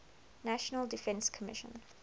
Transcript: national defense commission